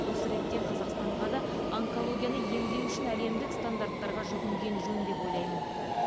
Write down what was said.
осы ретте қазақстанға да онкологияны емдеу үшін әлемдік стандарттарға жүгінген жөн деп ойлаймын